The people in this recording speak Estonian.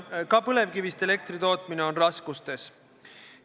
Ka põlevkivist elektri tootmine on raskustes.